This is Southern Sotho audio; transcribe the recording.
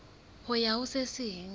ho ya ho se seng